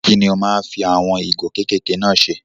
Kí lo máa ń fi àwọn ìgò kékèké náà ṣe?